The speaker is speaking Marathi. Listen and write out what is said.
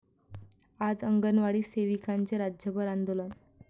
आज अंगणवाडी सेविकांचे राज्यभर आंदोलन